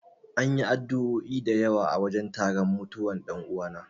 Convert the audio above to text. An yi addu'o'i da yawa a wajen taron mutuwan dan'uwana.